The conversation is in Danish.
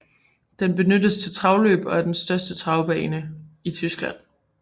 Den benyttes til travløb og er den største travbane i Tyskland